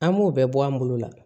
An b'o bɛɛ bɔ an bolo la